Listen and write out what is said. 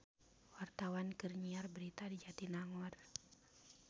Wartawan keur nyiar berita di Jatinangor